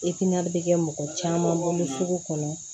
bi kɛ mɔgɔ caman bolo sugu kɔnɔ